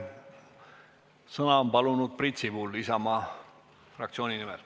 Sõna on palunud Priit Sibul Isamaa fraktsiooni nimel.